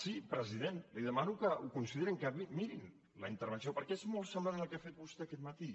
sí president li demano que ho considerin que mirin la intervenció perquè és molt semblant a la que ha fet vostè aquest matí